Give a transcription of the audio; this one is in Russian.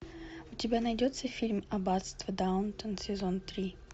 у тебя найдется фильм аббатство даунтон сезон три